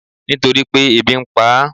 Nítorípé ebi npa á